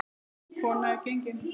Merk kona er gengin.